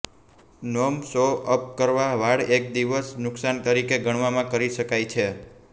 norm સો અપ કરવા વાળ એક દિવસ નુકશાન તરીકે ગણવામાં કરી શકાય છે